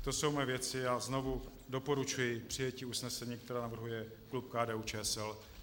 To jsou moje věci a znovu doporučuji přijetí usnesení, které navrhuje klub KDU-ČSL.